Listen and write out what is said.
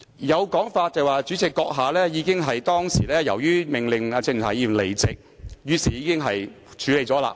有說法指由於主席閣下當時已命令鄭松泰議員離席，故可視為已作出處理和懲罰。